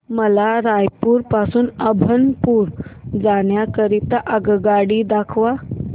मला रायपुर पासून अभनपुर जाण्या करीता आगगाडी दाखवा